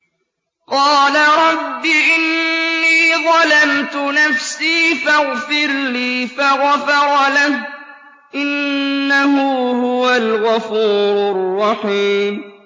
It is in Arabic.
قَالَ رَبِّ إِنِّي ظَلَمْتُ نَفْسِي فَاغْفِرْ لِي فَغَفَرَ لَهُ ۚ إِنَّهُ هُوَ الْغَفُورُ الرَّحِيمُ